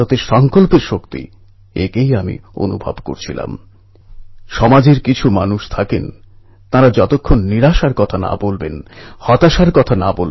প্রয়োজনে তিনি পদত্যাগ করবেন কিন্তু লোকমান্য তিলকের স্মারক মূর্তি প্রতিষ্ঠা করেই ছাড়বেন